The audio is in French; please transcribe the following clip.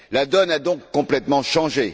La donne a donc complètement changé.